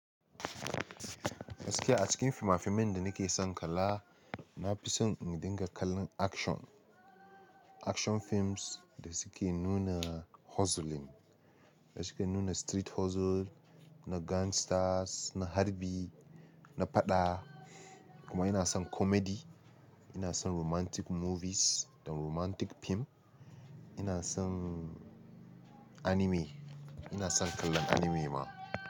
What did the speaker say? Da gaske a cikin finafinan da nake son kalla, nafi son in dinga kallon action. Action films da suke nuna hustling, da suke nuna street hustle, na gangsters, na harbi, na faɗa. Kuma ina son comedy, ina son romantic movies da romantic fim. Ina son anime, ina son kallon anime ma.